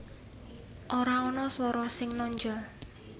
Ora ana swara sing nonjol